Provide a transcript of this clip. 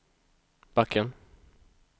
backen